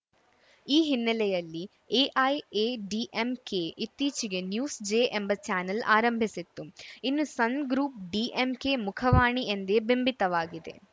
ಈ ಹಿನ್ನೆಲೆಯಲ್ಲಿ ಎಐಎಡಿಎಂಕೆ ಇತ್ತೀಚೆಗೆ ನ್ಯೂಸ್‌ ಜೆ ಎಂಬ ಚಾನೆಲ್‌ ಆರಂಭಿಸಿತ್ತು ಇನ್ನು ಸನ್‌ಗ್ರೂಪ್‌ ಡಿಎಂಕೆ ಮುಖವಾಣಿ ಎಂದೇ ಬಿಂಬಿತವಾಗಿದೆ